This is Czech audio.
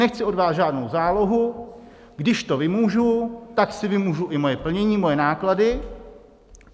Nechci od vás žádnou zálohu, když to vymůžu, tak si vymůžu i svoje plnění, svoje náklady.